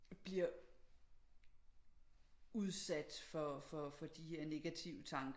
Bliver udsat for for de her negative tanker